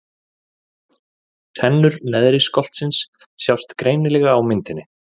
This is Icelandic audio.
Tennur neðri skoltsins sjást greinilega á myndinni.